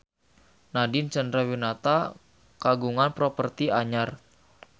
Nadine Chandrawinata kagungan properti anyar